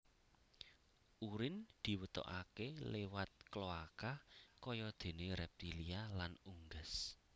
Urin diwetokaké liwat kloaka kayadéné reptilia lan unggas